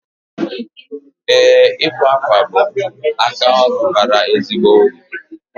Ee, ịkwa akwa bụ aka ọrụ bara ezigbo uru